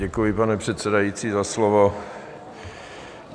Děkuji, pane předsedající, za slovo.